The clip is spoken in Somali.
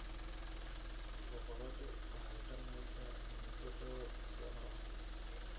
Boqoradu waxay tarmeysaa muddo dhowr sano ah.